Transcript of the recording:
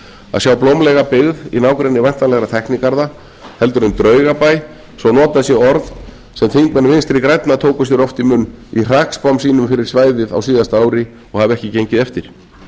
að sjá blómlega byggð í nágrenni væntanlegra tæknigarða en draugabæ svo notað sé orð sem þingmenn vinstri grænna tóku sér oft í munn í hrakspám sínum fyrir svæðið á síðasta ári og hafa ekki gengið eftir